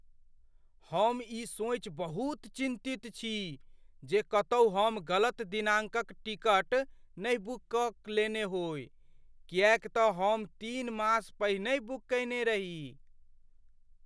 हम ई सोचि बहुत चिन्तित छी जे कतहुँ हम गलत दिनांकक टिकट नहि बुक कऽ लेने होइ किएकतँ हम तीन मास पहिनेहि बुक कयने रही।